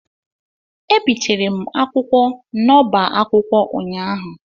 Ebitere m akwụkwọ n'oba akwụkwọ ụnyaahụ.